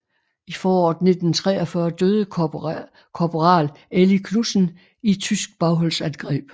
I foråret 1943 døde korporal Eli Knudsen i et tysk bagholdsangreb